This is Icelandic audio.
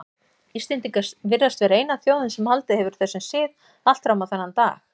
Íslendingar virðast vera eina þjóðin sem haldið hefur þessum sið allt fram á þennan dag.